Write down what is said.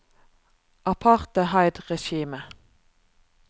apartheidregimet